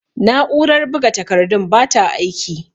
Na'urar buga takardun bata aiki.